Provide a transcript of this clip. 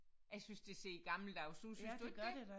Jeg synes det ser gammeldags ud synes du ikke det